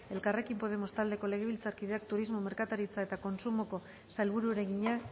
elkarrekin podemos taldeko legebiltzarkideak turismo merkataritza eta kontsumoko sailburuari egina